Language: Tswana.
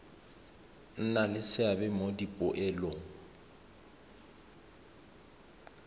nna le seabe mo dipoelong